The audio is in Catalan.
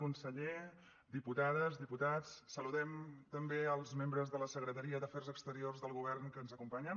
conseller diputades diputats saludem també els membres de la secretaria d’afers exteriors del govern que ens acompanyen